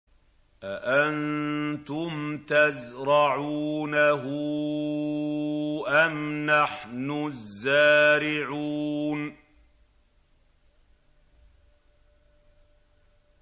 أَأَنتُمْ تَزْرَعُونَهُ أَمْ نَحْنُ الزَّارِعُونَ